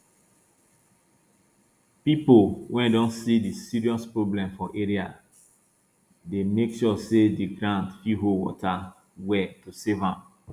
people wey don see di serious problem for area dey make sure say di ground fit hold water well to save am